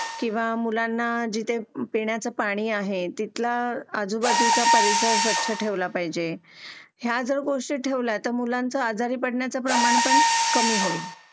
किंवा मुलांना जिथे पिण्याचे पाणी आहे तिथला आजूबाजूचा परिसर स्वच्छ ठेवला पाहिजे या जर गोष्टी ठेवल्या तर मुलांचं आजारी पडण्याचं प्रमाण पण कमी होईल